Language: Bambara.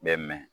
Bɛ mɛn